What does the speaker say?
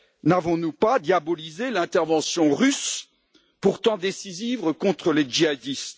N'avons nous pas diabolisé l'intervention russe pourtant décisive contre les djihadistes?